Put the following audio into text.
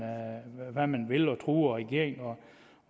truer regeringen